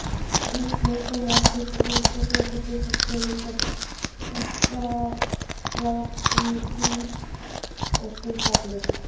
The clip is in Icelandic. Lífsnauðsynlegar fitusýrur gegna því hlutverki að mynda prostaglandín og skyld efni.